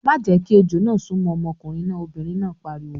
"Má jẹ́ kí ejò náà súnmọ́ ọmọkùnrin náà! Obìnrin náà pariwo.